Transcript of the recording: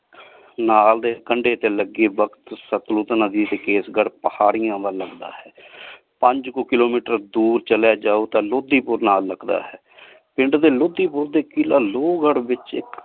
ਨਾਲ ਦੇ ਕੰਡੇ ਤੇ ਲੱਗੀ ਬਖਤ ਸਤਲੁਜ ਨਦੀ ਸੀ ਕੇਸਗੜ੍ਹ ਪਹਾੜੀਆਂ ਵੱਲ ਅੰਦਾ ਹੈ ਪੰਜ ਕੁ kilometer ਦੂਰ ਚਲਿਆ ਜਾਓ ਤੇ ਲੋਧੀਪੁਰ ਨਾਲ ਲਗਦਾ ਹੈ ਪਿੰਡ ਦੇ ਲੋਧੀਪੁਰ ਤੇ ਕਿਲਾ ਲੋਵਗਢ਼ ਵਿਚ